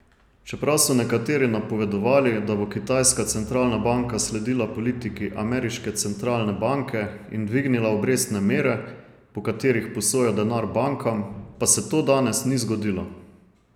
Čeprav so nekateri napovedovali, da bo kitajska centralna banka sledila politiki ameriške centralne banke in dvignila obrestne mere, po katerih posoja denar bankam, pa se to danes ni zgodilo.